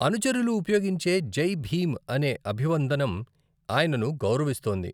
అనుచరులు ఉపయోగించే జై భీమ్ అనే అభివందనం ఆయనను గౌరవిస్తోంది.